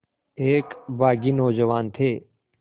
एक बाग़ी नौजवान थे